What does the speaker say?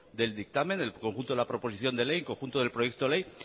del dictamen el conjunto de la proposición de ley en conjunto de proyecto ley